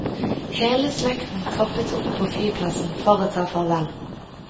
Hele slekten troppet opp på flyplassen for å ta farvel.